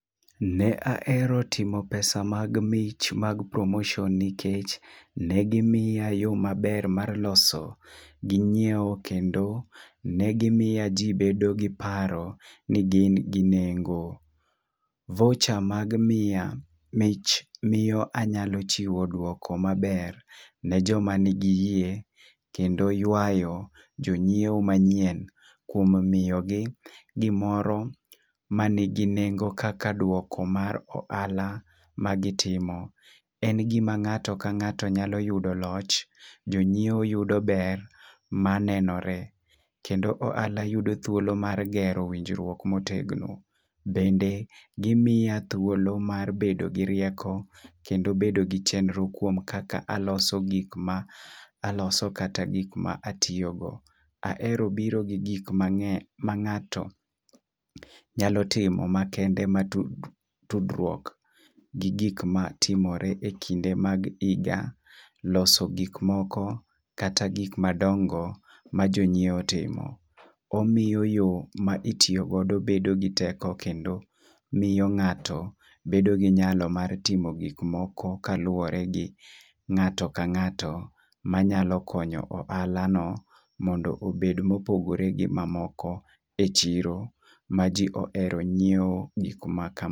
Ne ahero timo pesa mag mich mag promotion nikech ne gimiya yo maber mar loso ginyiewo lkendo ne gimiya jii bedo gi paro ni gin gi nengo. Voucher ma gimiya mich miyo anyalo chiwo duoko maber ne joma nigi yie kendo ywayo jonyiewo manyien kuom miyo gi gimoro manigi nengo kaka duoko mar ohala magitimo . En gima ng'ato ka ng'ato nyalo yudo loch, jonyiewo yudo ber manenore . Kendo ohala yudo thuolo mar gero winjruok motegno .Bende gimiya thuolo mar bedo gi rieko kendo bedo gi chenro kuom kaka aloso kata gik ma atiyo go. Ahero biro gi gika ma nge' ma ngato nyalo timo makende mag tudruok gi gik matimore e kinde mag higa loso gik moko, kata gik madongo ma jonyiewo timo. Omiyo yoo ma itiyo godo bedo gi teko kendo miyo ng'ato bedo gi nyalo mar timo gik moko kaluwore gi ng'ato ka ng'ato, manyalo konyo ohala no mondo obed mopogore gi mamoko e chiro ma jii ohero nyiewo e gik ma kamago